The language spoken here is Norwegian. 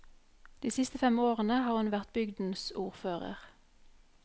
De siste fem årene har hun vært bygdens ordfører.